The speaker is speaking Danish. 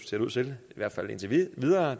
ser ud til i hvert fald indtil videre at